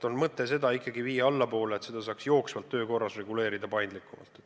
On mõte seda ikkagi viia allapoole, et seda saaks jooksvalt ja paindlikumalt töö korras reguleerida.